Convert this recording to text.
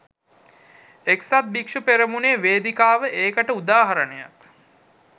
එක්සත් භික්‍ෂු පෙරමුණේ වේදිකාව ඒකට උදාහරණයක්